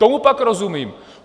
Tomu pak rozumím.